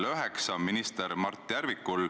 Lugupeetud minister!